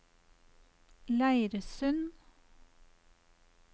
Leirsund